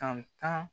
Tan